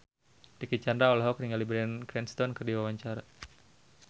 Dicky Chandra olohok ningali Bryan Cranston keur diwawancara